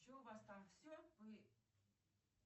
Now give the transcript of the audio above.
че у вас там все вы